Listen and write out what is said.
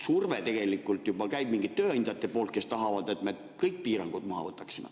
Juba on tegelikult surve tööandjate poolt, kes tahavad, et me kõik piirangud maha võtaksime.